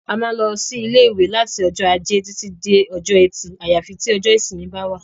A má ń lọ sí ilé ìwé láti ọjọ́ ajé títí dé ọjọ́ ẹtì àyàfi tí ọjọ́ ìsinmi bá wà